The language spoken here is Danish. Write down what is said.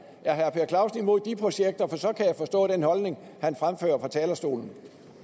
er herre per clausen imod de projekter for så kan jeg forstå den holdning han fremfører fra talerstolen